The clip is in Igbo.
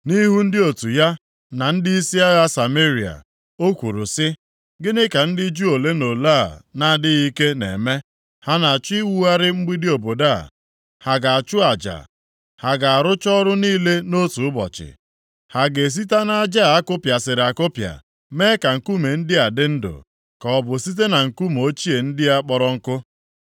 Nʼihu ndị otu ya na ndịisi agha Sameria, o kwuru si, “Gịnị ka ndị Juu ole na ole a na-adịghị ike na-eme? Ha na-achọ iwugharị mgbidi obodo a? Ha ga-achụ aja? Ha ga-arụcha ọrụ niile nʼotu ụbọchị? Ha ga-esita nʼaja a kụpịasịrị akụpịa mee ka nkume ndị a dị ndụ, ka ọ bụ site na nkume ochie ndị a akpọrọ ọkụ?”